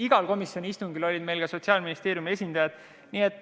Igal komisjoni istungil olid meil ka Sotsiaalministeeriumi esindajad.